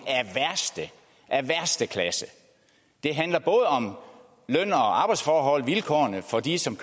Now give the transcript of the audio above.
af værste det handler både om løn og arbejdsforhold om vilkårene for de som